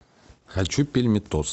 хочу пельметос